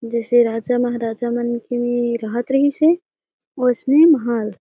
जैसे राजा महाराजा मन के रहत रहीसे उसने महल --